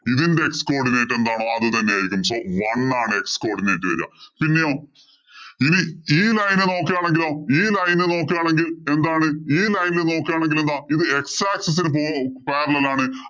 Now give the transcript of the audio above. ഇതിന്‍റെ x codinate എന്താണോ അത് തന്നെ ആയിരിക്കും. One ആണ് x codinate വരിക. പിന്നെയോ, ഈ line ഏ നോക്കുകയാണെങ്കിലോ ഈ line ഏ നോക്കുകയാണെങ്കി എന്താണ് ഈ line ഇല്‍ നോക്കുകയാണെങ്കില്‍ എന്താ ഇത് x axis ഇന് പോ parallel ആണ്.